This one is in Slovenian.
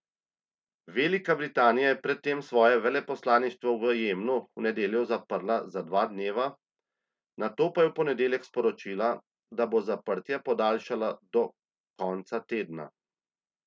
Velika Britanija je pred tem svoje veleposlaništvo v Jemnu v nedeljo zaprla za dva dneva, nato pa je v ponedeljek sporočila, da bo zaprtje podaljšala do konca tedna.